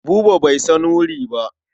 Buba bai san wuri ba.